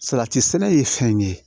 Salati sɛnɛ ye fɛn ye